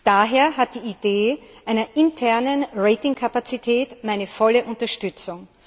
Daher hat die Idee einer internen Ratingkapazität meine volle Unterstützung.